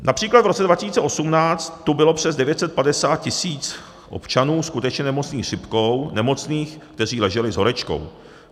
Například v roce 2018 tu bylo přes 950 tisíc občanů skutečně nemocných chřipkou, nemocných, kteří leželi s horečkou.